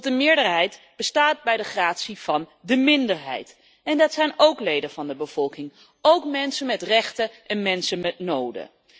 Want de meerderheid bestaat bij de gratie van de minderheid. En dat zijn ook leden van de bevolking, ook mensen met rechten en behoeften.